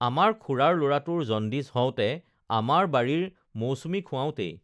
আমাৰ খুৰাৰ লৰাটোৰ জণ্ডিছ হওঁতে আমাৰ বাৰীৰ মৌচুমী খুৱাওঁতেই